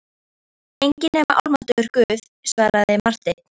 Enginn nema almáttugur Guð, svaraði Marteinn.